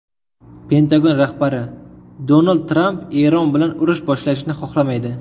Pentagon rahbari: Donald Tramp Eron bilan urush boshlashni xohlamaydi.